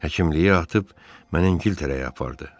Həkimliyi atıb məni İngiltərəyə apardı.